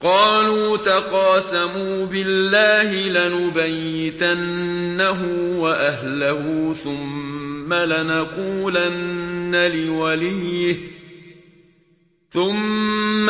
قَالُوا تَقَاسَمُوا بِاللَّهِ لَنُبَيِّتَنَّهُ وَأَهْلَهُ ثُمَّ